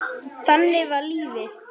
Þannig var lífið.